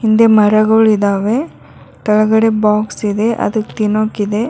ಹಿಂದೆ ಮರಗುಳಿದವೆ ತೆಳಗಡೆ ಬಾಕ್ಸ್ ಇದೆ ಅದಕ್ ತಿನೋಕ್ ಇದೆ.